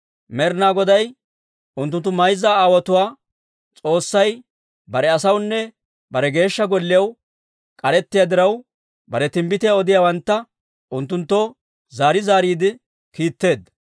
Med'inaa Goday, unttunttu mayza aawotuwaa S'oossay bare asawunne bare Geeshsha Golliyaw k'arettiyaa diraw, bare timbbitiyaa odiyaawantta unttunttoo zaari zaariide kiitteedda.